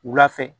Wula fɛ